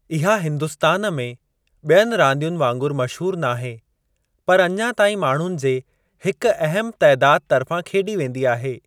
इहा हिंदुस्तान में ॿियनि रांदियुनि वांगुरु मशहूरु नाहे पर अञा ताईं माण्हुनि जे हिक अहम तइदादु तर्फ़ां खेॾी वेंदी आहे।